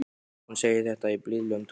Hún segir þetta í blíðlegum tóni.